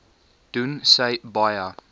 doen sy baie